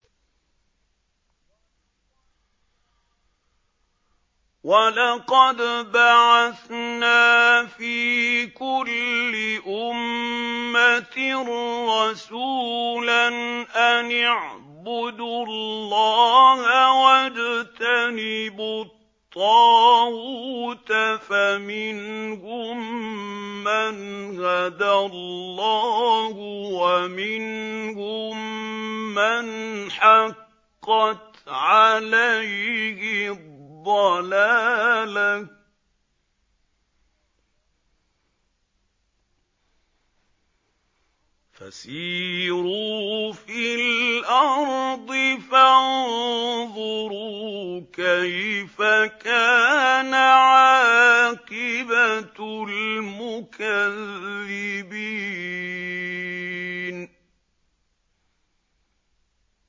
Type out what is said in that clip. وَلَقَدْ بَعَثْنَا فِي كُلِّ أُمَّةٍ رَّسُولًا أَنِ اعْبُدُوا اللَّهَ وَاجْتَنِبُوا الطَّاغُوتَ ۖ فَمِنْهُم مَّنْ هَدَى اللَّهُ وَمِنْهُم مَّنْ حَقَّتْ عَلَيْهِ الضَّلَالَةُ ۚ فَسِيرُوا فِي الْأَرْضِ فَانظُرُوا كَيْفَ كَانَ عَاقِبَةُ الْمُكَذِّبِينَ